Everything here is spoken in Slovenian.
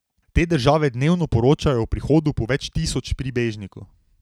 Te države dnevno poročajo o prihodu po več tisoč pribežnikov.